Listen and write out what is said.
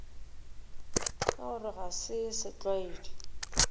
ka gore ga se setlwaedi